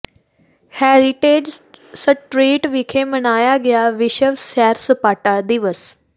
heritage street ਵਿਖੇ ਮਨਾਇਆ ਗਿਆ ਵਿਸ਼ਵ ਸੈਰ ਸਪਾਟਾ ਦਿਵਸ